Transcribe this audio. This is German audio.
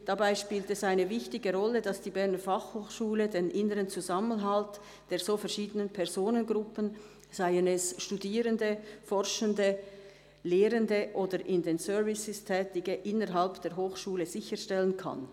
«Dabei spielt es eine wichtige Rolle, dass die Berner Fachhochschule den inneren Zusammenhalt der so verschiedenen Personengruppen, seien es Studierende, Forschende, Lehrende oder in den Services Tätige innerhalb der Hochschule sicherstellen kann.